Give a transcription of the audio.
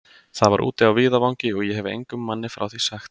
Það var úti á víðavangi, og ég hefi engum manni frá því sagt.